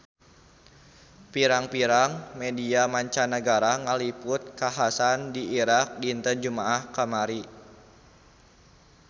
Pirang-pirang media mancanagara ngaliput kakhasan di Irak dinten Jumaah kamari